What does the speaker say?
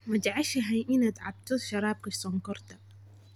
Ma jeceshahay inaad cabto sharaabka sonkorta?